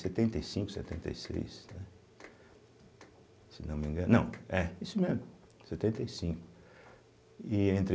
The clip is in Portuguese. Setenta e cinco, setenta e seis, né, se não me engano, não, é, isso mesmo, setenta e cinco e